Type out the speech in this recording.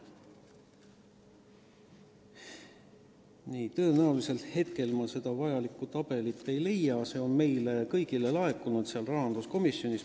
Nii, tõenäoliselt ma kohe praegu seda vajalikku tabelit ei leia, aga see on meile kõigile laekunud, see on rahanduskomisjonil olemas.